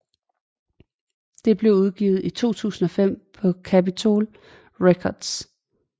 Det blev udgivet i 2005 af Capitol Records